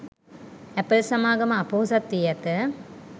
Apple සමාගම අපොහොසත් වී ඇත